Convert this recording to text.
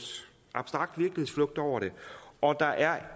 over det og at der er